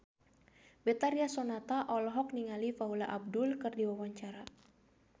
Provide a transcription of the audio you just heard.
Betharia Sonata olohok ningali Paula Abdul keur diwawancara